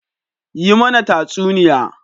Yi mana tatsuniya.